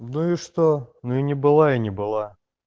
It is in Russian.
ну и что мы не было и не было